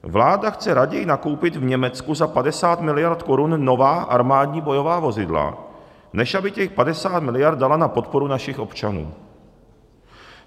Vláda chce raději nakoupit v Německu za 50 miliard korun nová armádní bojová vozidla, než aby těch 50 miliard dala na podporu našich občanů.